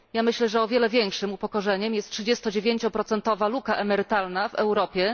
Ja myślę, że o wiele większym upokorzeniem jest 39 procentowa luka emerytalna w Europie.